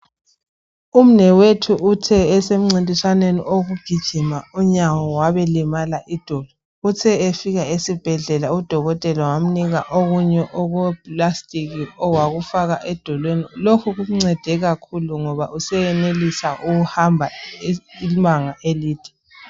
Umnewethu uthe esemncintiswaneni okugijima, unyawo, wabelimala idolo. Uthe efika esibhedlela udokotela wamnika okunye okweplastic, owakufaka edolweni. Lokhu kumncede kakhulu, ngoba useyenelisa ukuhamba ibanga elide,